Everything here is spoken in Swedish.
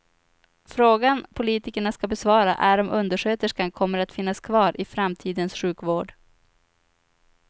Frågan politikerna ska besvara är om undersköterskan kommer att finnas kvar i framtidens sjukvård.